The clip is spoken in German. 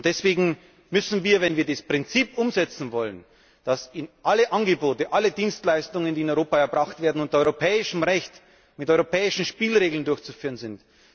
Deswegen müssen wir, wenn wir das Prinzip umsetzen wollen, dass alle Angebote, alle Dienstleistungen, die in Europa erbracht werden unter europäischem Recht, mit europäischen Spielregeln durchzuführen sind.